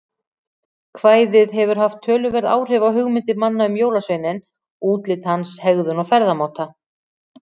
Kvæðið hefur haft töluverð áhrif á hugmyndir manna um jólasveininn, útlit hans, hegðun og ferðamáta.